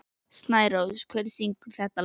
Snærós, hver syngur þetta lag?